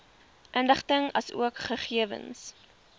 inligting asook gegewens